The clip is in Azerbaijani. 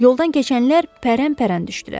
Yoldan keçənlər pərəmpərən düşdülər.